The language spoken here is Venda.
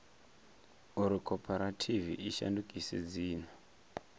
uri khophorethivi i shandukise dzina